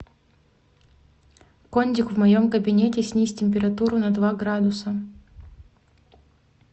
кондик в моем кабинете снизь температуру на два градуса